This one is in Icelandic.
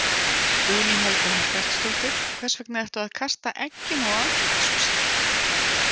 Guðný Helga Herbertsdóttir: Hvers vegna ertu að kasta eggjum á Alþingishúsið?